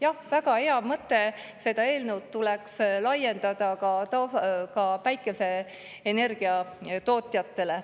Jah, väga hea mõte, seda eelnõu tuleks laiendada ka päikeseenergia tootjatele.